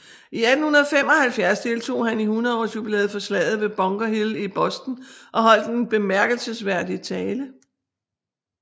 I 1875 deltog han i 100 års jubilæet for Slaget ved Bunker Hill i Boston og holdt en bemærkelsesværdig tale